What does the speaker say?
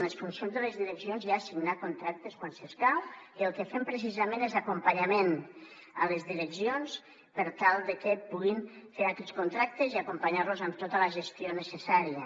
en les funcions de les direccions hi ha signar contractes quan s’escau i el que fem precisament és acompanyament a les direccions per tal de que puguin fer aquests contractes i acompanyar los en tota la gestió necessària